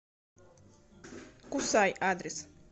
кусай адрес